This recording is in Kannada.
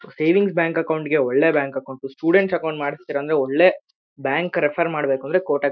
ಸೇವಿಂಗ್ಸ್ ಬ್ಯಾಂಕ್ ಅಕೌಂಟ್ಸ್ ಗೆ ಒಳ್ಳೆ ಬ್ಯಾಂಕ್ ಅಕೌಂಟು ಸ್ಟೂಡೆಂಟ್ಸ್ ಅಕೌಂಟ್ಸ್ ಒಳ್ಳೆ ಬ್ಯಾಂಕ್ ರೆಫರ್ ಮಾಡ್ಬೇಕೂಂದ್ರೆ ಕೋಟಕ್ --